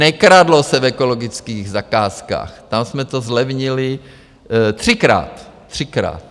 Nekradlo se v ekologických zakázkách, tam jsme to zlevnili třikrát, třikrát.